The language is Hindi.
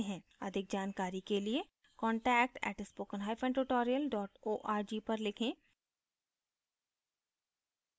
अधिक जानकारी के लिए contact @spoken hyphen tutorial dot org पर लिखें